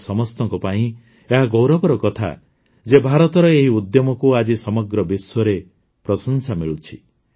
ଆମ ସମସ୍ତଙ୍କ ପାଇଁ ଏହା ଗୌରବର କଥା ଯେ ଭାରତର ଏହି ଉଦ୍ୟମକୁ ଆଜି ସମଗ୍ର ବିଶ୍ୱରେ ପ୍ରଶଂସା ମିଳୁଛି